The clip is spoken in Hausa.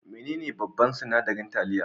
Menene babban sinadarin taliya?